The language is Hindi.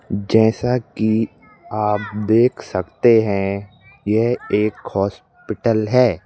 जैसा। कि आप देख सकते हैं यह एक हॉस्पिटल है